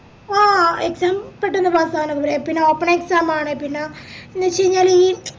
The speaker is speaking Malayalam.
ആഹ് exam പെട്ടന്ന് pass നോക്കെ പ് പിന്ന open exam ആണ് പിന്ന ഈ ചയിഞ്ഞാലി